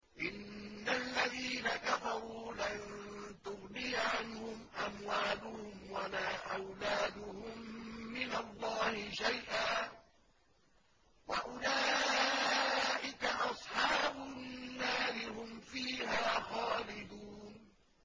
إِنَّ الَّذِينَ كَفَرُوا لَن تُغْنِيَ عَنْهُمْ أَمْوَالُهُمْ وَلَا أَوْلَادُهُم مِّنَ اللَّهِ شَيْئًا ۖ وَأُولَٰئِكَ أَصْحَابُ النَّارِ ۚ هُمْ فِيهَا خَالِدُونَ